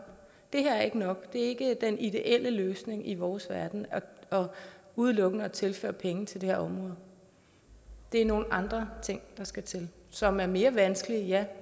det her er ikke nok det er ikke den ideelle løsning i vores verden udelukkende at tilføre penge til det her område det er nogle andre ting der skal til som er mere vanskelige ja